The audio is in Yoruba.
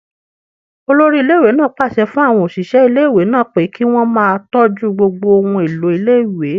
Olórí iléèwé náà pàṣẹ fún àwọn òṣìṣẹ́ iléèwé náà pé kí wọ́n máa tọ́jú gbogbo ohun èlò iléèwé